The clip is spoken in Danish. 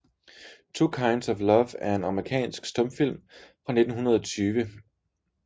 Two Kinds of Love er en amerikansk stumfilm fra 1920 af B